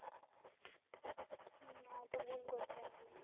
না তো ভুল করতাম না.